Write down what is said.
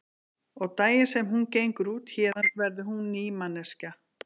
Og daginn sem hún gengur út héðan verður hún ný manneskja.